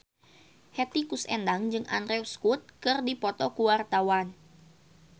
Hetty Koes Endang jeung Andrew Scott keur dipoto ku wartawan